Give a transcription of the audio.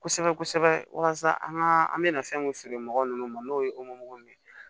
Kosɛbɛ kosɛbɛ walasa an ka an bɛna fɛn mun feere mɔgɔ ninnu ma n'o ye ye